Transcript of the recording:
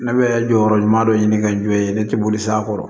Ne bɛ jɔyɔrɔ ɲuman dɔ ɲini ka jɔ yen ne tɛ boli sa kɔrɔ